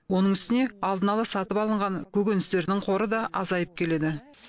оның үстіне алдын ала сатып алынған көкөністердің қоры да азайып келеді